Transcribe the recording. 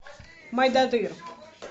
мойдодыр